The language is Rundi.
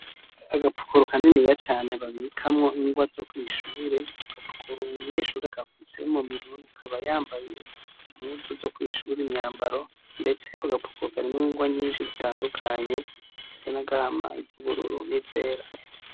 Aga pukuru kaniniya cane babikamwo ingwa zo kwishure , ako gapukuru umunyeshure agafise muminwe akaba yambaye impuzu zo kwishure imyambara ndetse ako gapukuru karimw'ingwa nyinshi zitandukaye izisa n'agahama, iz'ubururu n'izera.